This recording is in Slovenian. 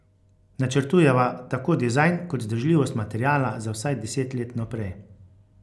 Načrtujeva tako dizajn kot vzdržljivost materiala za vsaj deset let vnaprej.